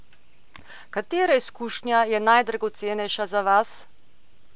Katera izkušnja je najdragocenejša za vas?